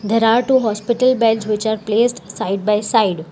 There are two hospital bags which are place side by side.